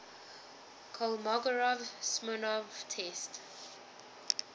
kolmogorov smirnov test